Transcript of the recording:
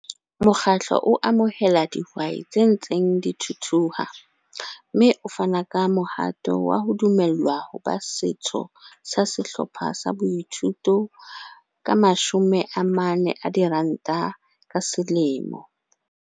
Mokgatlo o amohela dihwai tse ntseng di thuthuha, mme o fana ka mohato wa ho dumellwa ho ba setho sa sehlopha sa boithuto ka R40,00 ka selemo.